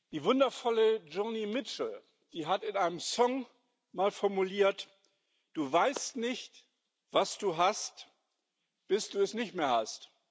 Die wundervolle Joni Mitchell hat in einem Song mal formuliert Du weißt nicht, was du hast, bis du es nicht mehr hast.